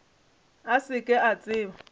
a se ke a tseba